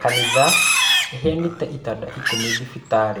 Kanitha ĩheanĩte itanda ikũmi thibitarĩ